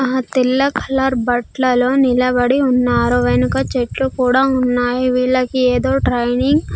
ఆ తెల్ల కలర్ బట్లలో నిలబడి ఉన్నారు వెనక చెట్లు కూడా ఉన్నాయి వీళ్ళకి ఏదో ట్రైనింగ్ .